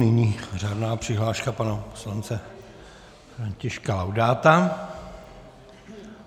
Nyní řádná přihláška pana poslance Františka Laudáta.